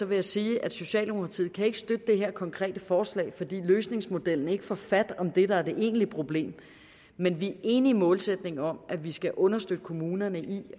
vil jeg sige at socialdemokratiet ikke kan støtte det her konkrete forslag fordi løsningsmodellen ikke får fat om det der er det egentlige problem men vi er enige i målsætningen om at vi skal understøtte kommunerne i